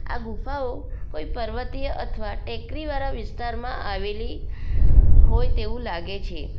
આ ગુફાઓ કોઈ પર્વતીય અથવા ટેકરીવાળા વિસ્તારમાં આવેલી હોય તેવું લાગે છે.